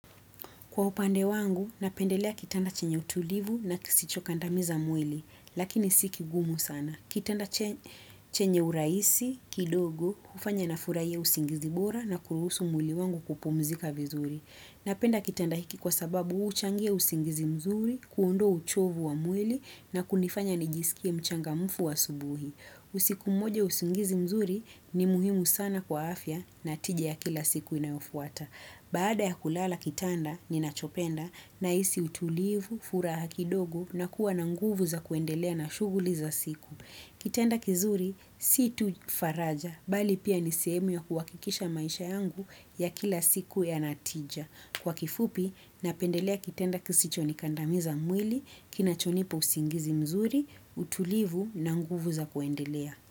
Kwa upande wangu, napendelea kitanda chenye utulivu na kisichokandamiza mwili, lakini sikigumu sana. Kitanda chenye urahisi, kidogo, hufanya nafurahia usingizi bora na kuruhusu mwili wangu kupumzika vizuri. Napenda kitanda hiki kwa sababu huchangia usingizi mzuri, kuondoa uchovu wa mwili na kunifanya nijisikie mchangamufu asubuhi. Usiku mmoja usingizi mzuri ni muhimu sana kwa afya na tiji ya kila siku inayofuata. Baada ya kulala kitanda, ninachopenda nahisi utulivu, furaha kidogo na kuwa na nguvu za kuendelea na shughuli za siku. Kitanda kizuri, si tu faraja, bali pia nisehemu ya kuwakikisha maisha yangu ya kila siku yana tija. Kwa kifupi, napendelea kitanda kisicho nikandamiza mwili, kinachonipa usingizi mzuri, utulivu na nguvu za kuendelea.